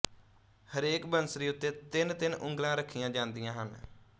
ਹਰੇਕ ਬੰਸਰੀ ਉੱਤੇ ਤਿੰਨ ਤਿੰਨ ਉਂਗਲਾਂ ਰਖੀਆਂ ਜਾਂਦੀਆਂ ਹਨ